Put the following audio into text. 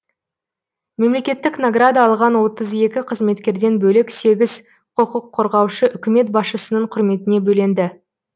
мемлекеттік награда алған отыз екі қызметкерден бөлек сегіз құқық қорғаушы үкімет басшысының құрметіне бөленді